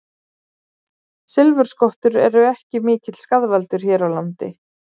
Silfurskottur eru ekki mikill skaðvaldur hér á landi.